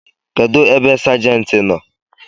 Kedụ ebe sajenti nọ?